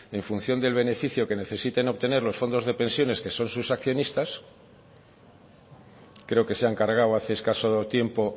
en función del beneficio que necesiten obtener los fondos de pensiones que son sus accionistas creo que se han cargado hace escaso tiempo